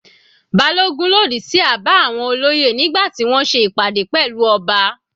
Balogun lòdì sí àbá àwọn olóyè nígbà tí wọ́n ṣe ìpàdé pẹ̀lú ọba.